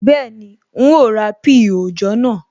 Bẹ́ẹ̀ni, n ó ra píì òòjọ́ naa